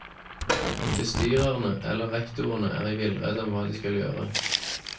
Bestyrerne eller rektorene er i villrede om hva de skal gjøre.